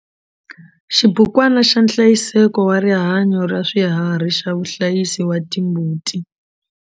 Xibukwana xa nhlayiseko wa rihanyo ra swiharhi xa vahlayisi va timbuti.